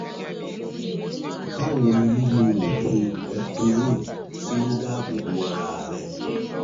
Báwo ni lílo oògùn eptoin ṣe dáàbò bo ara rẹ?